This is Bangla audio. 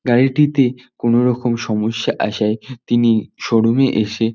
গাড়িটিতে কোনরকম সমস্যা আসায় তিনি শোরুম এ এসে--